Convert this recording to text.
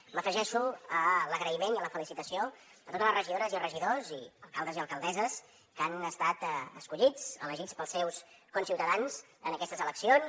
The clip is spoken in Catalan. m’afegeixo a l’agraïment i a la felicitació a totes les regidores i regidors i alcaldes i alcaldesses que han estat escollits elegits pels seus conciutadans en aquestes eleccions